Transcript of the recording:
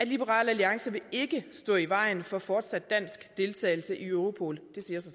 liberal alliance vil ikke stå i vejen for fortsat dansk deltagelse i europol